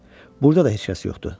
Burada da heç kəs yoxdu.